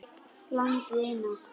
Landið eina.